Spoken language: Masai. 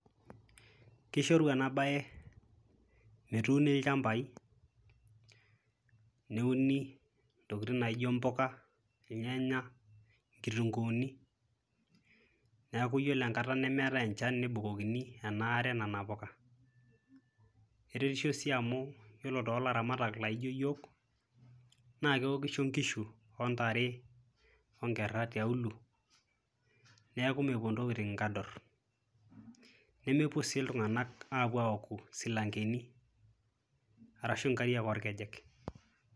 Kishoru ena baye metuuni ilchambai neuni ntokin naijo mpoka, irnyanyak, inkitung'uuni, neeku iyiolo enkata nemeetai enchan nebukokini ena are nena poka. Keretisho sii amu yiolo too laramatak laijo iyiok, naake ewokisho nkishu wo ntare wo nkera tiaulo, neeku mepuo ntokitin nkador nemepuo sii iltung'anak aapuo awoku silankeni arashu nkariak orkejek.